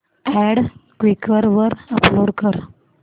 add Quikr वर upload कर